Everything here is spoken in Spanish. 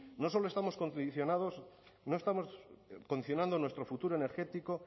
no solo estamos condicionados no estamos condicionando nuestro futuro energético